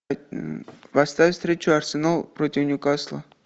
поставь встречу арсенал против ньюкасла